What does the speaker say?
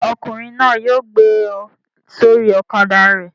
Ṣé ọkùnrin náà yóò gbé ọ sórí ọ̀kadà rẹ̀?